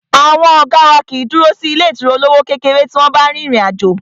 Àwọn ọ̀gá wá kìí dúró sí ilé ìtura olówó kékeré tí wọ́n bá rin ìrìn àjò.